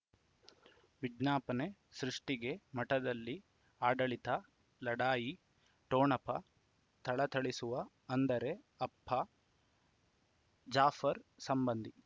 ವಿಜ್ಞಾಪನೆ ಸೃಷ್ಟಿಗೆ ಮಠದಲ್ಲಿ ಆಡಳಿತ ಲಢಾಯಿ ಠೊಣಪ ಥಳಥಳಿಸುವ ಅಂದರೆ ಅಪ್ಪ ಜಾಫರ್ ಸಂಬಂಧಿ